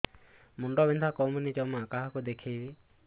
ମୁଣ୍ଡ ବିନ୍ଧା କମୁନି ଜମା କାହାକୁ ଦେଖେଇବି